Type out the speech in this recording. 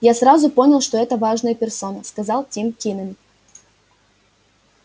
я сразу понял что это важная персона сказал тим кинен